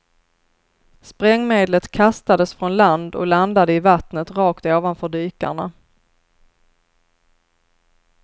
Sprängmedlet kastades från land och landade i vattnet rakt ovanför dykarna.